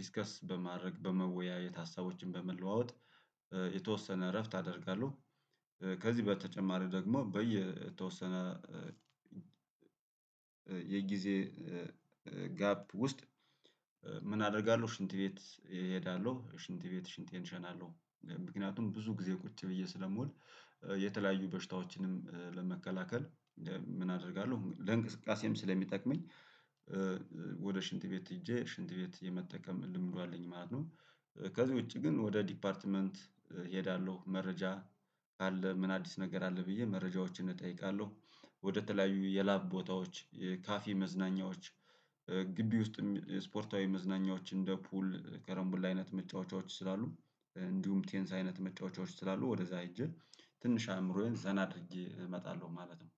ዲስከስ በማድረግ በመወያየት ሀሳቦችን በመለዋወጥ የተወሰነ እረፍት አደርጋለሁ። ከዚህ በተጨማሪ ደግሞ በየተወሰነ የጊዜ ጋፕ ውስጥ ምን አደርጋለሁ? ሽንት ቤት እሄዳለሁ ሽንት ቤት ሽንቴን እሸናለሁ። ምክንያቱም ብዙ ጊዜ ቁጭ ብዬ ስለምውል የተለያዩ በሽታዎችንም ለመከላከል ምን አደርጋለሁ? ለእንቅስቃሴም ስለሚጠቅመኝ ወደ ሽንት ቤት ሄጄ ሽንት ቤት የመጠቀም ልምዱ አለኝ ማለት ነው። ከዚህ ውጪ ግን ወደ ዲፓርትመንት እሄዳለሁ መረጃ ካለ ምን አዲስ ነገር አለ? ብዬ መረጃዎችን እጠይቃለሁ። ወደተለያዩ የላብ ቦታዎች የካፌ መዝናኛዎች ግቢ ውስጥም የስፖርታዊ መዝናኛዎች እንደ ፑል ከረምቡላ አይነት መጫወቻዎች ስላሉ እንዲሁም ቴኒስ አይነት መጫወቻዎች ስላሉ ወደዛ ሄጄ ትንሽ አእምሮዬን ዘና አድርጌ እመጣለሁ ማለት ነው።